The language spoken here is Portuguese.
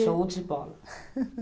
Show de bola.